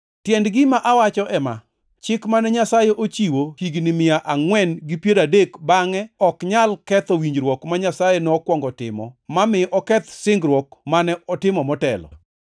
Tiend gima awacho ema: Chik mane Nyasaye ochiwo higni mia angʼwen gi piero adek bangʼe ok nyal ketho winjruok ma Nyasaye nokwongo timo ma mi oketh singruok mane otimo motelo.